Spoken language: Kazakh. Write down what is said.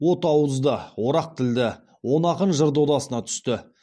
от ауызды орақ тілді он ақын жыр додасына түсті